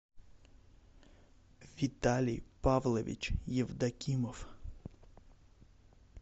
виталий павлович евдокимов